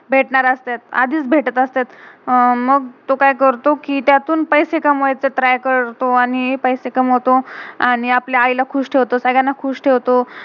भेटणार असत्यत, आधीच भेटत असतेत. मग तो का्य करतो, कि त्यातून पैस्से कमवायचं ट्राय try करतो आणि पैस्से कमवतो. आणि आपल्या आई ला खुश ठेवतो. सगळ्याना खुश ठेवतो.